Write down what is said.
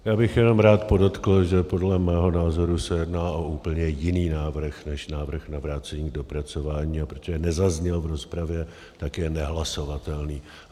Já bych jenom rád podotkl, že podle mého názoru se jedná o úplně jiný návrh než návrh na vrácení k dopracování, a protože nezazněl v rozpravě, tak je nehlasovatelný.